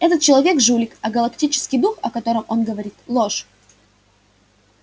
этот человек жулик а галактический дух о котором он говорит ложь